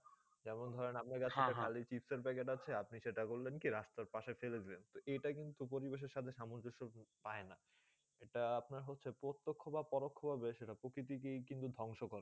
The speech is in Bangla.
যেমন ধরনে আপনা কাছে চিপ্সে প্যাকেট আছে আপনি সেটা করলেন কি চিপসের প্যাকেট রাস্তা পাশে ফেলে দিলেন এটা কিন্তু পরিবেশে সাথে সামজেস পায়ে না আটা আপনার প্রত্যেক বা করল বেশ প্রকৃতি কে কিন্তু ধবংস করে